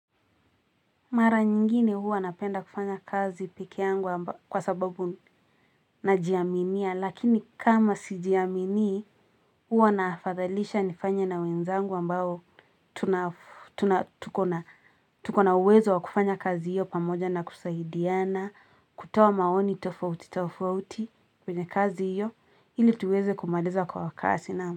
Mara nyingine huwa napenda kufanya kazi pekeangu kwa sababu najiaminia, lakini kama sijiaminii huwa naafadhalisha nifanye na wenzangu ambao.tuna tuko na uwezo wa kufanya kazi hiyo pamoja na kusaidiana, kutoa maoni tofauti tofauti kwenye kazi hiyo, ili tuweze kumaliza kwa kasi na.